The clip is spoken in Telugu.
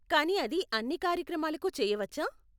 కానీ అది అన్ని కార్యక్రమాలకు చేయవచ్చా?